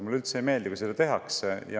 Mulle üldse ei meeldi, kui seda tehakse.